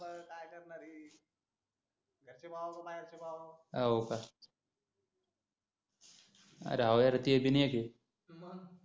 हाव का अरे हाव यार ते बी नि आठी